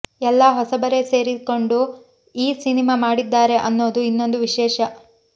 ಎಲ್ಲಾ ಹೊಸಬರೇ ಸೇರಿಕೊಂಡು ಈ ಸಿನಿಮಾ ಮಾಡಿದ್ದಾರೆ ಅನ್ನೋದು ಇನ್ನೊಂದು ವಿಶೇಷ